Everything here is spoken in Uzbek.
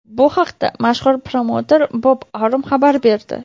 Bu haqda mashhur promouter Bob Arum xabar berdi.